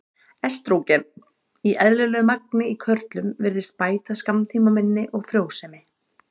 Estrógen í eðlilegu magni í körlum virðist bæta skammtímaminni og frjósemi.